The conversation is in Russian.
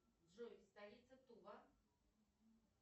джой столица тува